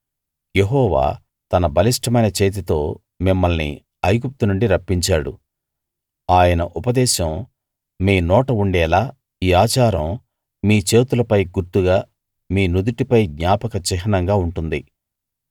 యెహోవా తన బలిష్టమైన చేతితో మిమ్మల్ని ఐగుప్తు నుండి రప్పించాడు ఆయన ఉపదేశం మీ నోట ఉండేలా ఈ ఆచారం మీ చేతులపై గుర్తుగా మీ నుదుటిపై జ్ఞాపక చిహ్నంగా ఉంటుంది